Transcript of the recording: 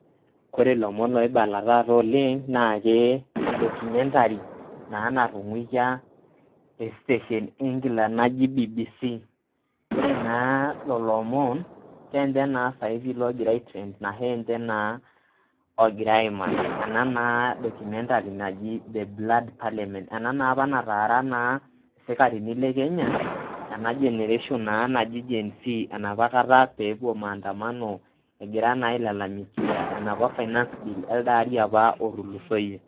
Kore ilomon oibala taata oleng naake edocumentary naa natung'aikia estation e England naji BBC. Ore naa lelo omon keninche naa saisi ogira aitrend naa ninche naa egirai aimaki, ena naa documentary naji The Black Parliament. Ena naa opa natara isikarini le Kenya ena generation naji [Gen Z enopakata pewuo maandamano egira naa ailalamikia enopa finance bill elde ari otulusoyie.